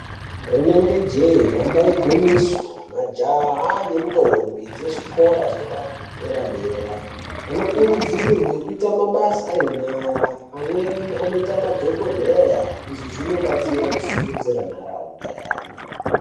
Rinenge jee damba igwinyiso majaha nendombi dzezvikora zvepadera dera vanokurudzirwe kuite mabasa enyara pamweni anoita madhokodheya izvi zvinobatsira kusimudzira nharaunda yayo.